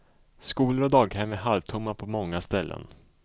Skolor och daghem är halvtomma på många ställen.